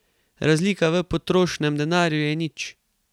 Razlika v potrošenem denarju je nič.